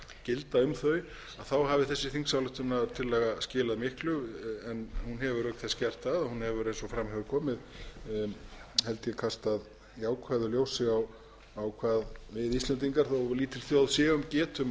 gilda um þau þá hafi þessi þingsályktunartillaga skilað miklu en hún hefur auk þess gert það hún hefur eins og fram hefur komið held ég kastað jákvæðu ljósi á hvað við íslendingar þó lítil þjóð séum getum